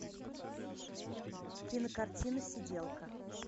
кинокартина сиделка